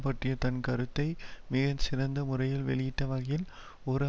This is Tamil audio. பற்றிய தன் கருத்தை மிக சிறந்த முறையில் வெளியிட்ட வகையில் ஒரு